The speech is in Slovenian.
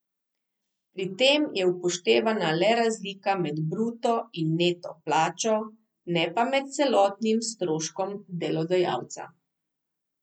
Pri tem je upoštevana le razlika med bruto in neto plačo, ne pa med celotnim stroškom delodajalca.